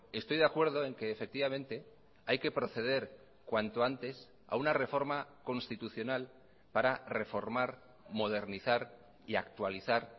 estoy de acuerdo en que efectivamente hay que proceder cuanto antes a una reforma constitucional para reformar modernizar y actualizar